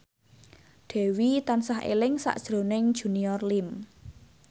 Dewi tansah eling sakjroning Junior Liem